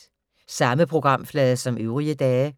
Samme programflade som øvrige dage